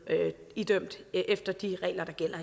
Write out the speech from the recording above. idømt efter de regler der gælder